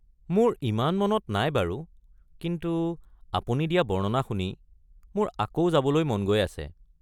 মোৰ ইমান মনত নাই বাৰু কিন্তু আপুনি দিয়া বৰ্ণনা শুনি মোৰ আকৌ যাবলৈ মন গৈ আছে